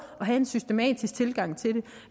at have en systematisk tilgang til